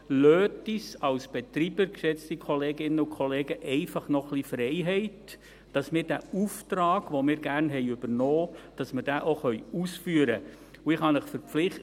Lassen Sie uns Betreibern, geschätzte Kolleginnen und Kollegen, einfach noch ein wenig Freiheit, dass wir diesen Auftrag, den wir gerne übernommen haben, auch ausführen können.